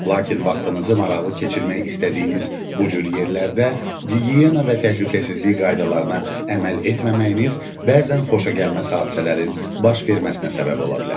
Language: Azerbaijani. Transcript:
Lakin vaxtınızı maraqlı keçirmək istədiyiniz bu cür yerlərdə gigiyena və təhlükəsizlik qaydalarına əməl etməməyiniz bəzən xoşagəlməz hadisələrin baş verməsinə səbəb ola bilər.